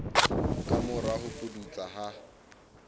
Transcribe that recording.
ka mora ho pudutsa ha